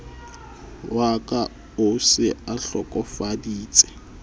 wa ka o se ahlokofaditse